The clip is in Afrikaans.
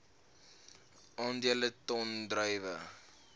aandele ton druiwe